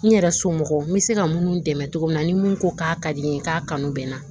N yɛrɛ somɔgɔw n bɛ se ka minnu dɛmɛ cogo min na ni mun ko k'a ka di n ye k'a kanu bɛ n na